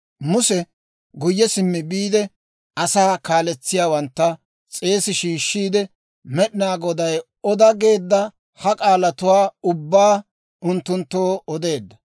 Muse guyye simmi biide, asaa kaletsiyaawantta s'eesi shiishshiide, Med'inaa Goday oda geedda ha k'aalatuwaa ubbaa unttunttoo odeedda.